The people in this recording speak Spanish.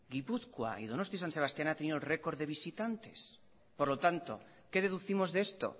gipuzkoa y donosti san sebastián ha tenido récord de visitantes por lo tanto qué deducimos de esto